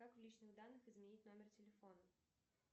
как в личных данных изменить номер телефона